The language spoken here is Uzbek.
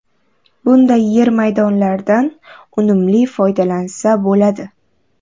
Bunday yer maydonlardan unumli foydalansa bo‘ladi.